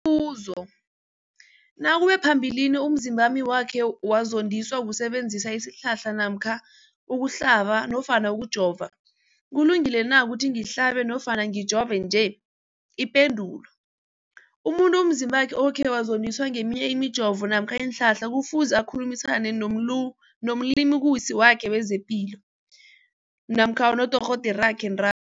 buzo, nakube phambilini umzimbami wakhe wazondiswa kusebenzisa isihlahla namkha ukuhlaba nofana ukujova, kulungile na ukuthi ngihlabe nofana ngijove nje? Ipendulo, umuntu umzimbakhe okhe wazondiswa ngeminye imijovo namkha iinhlahla kufuze akhulumisane nomlimukisi wakhe wezepilo namkha nodorhoderakhe nta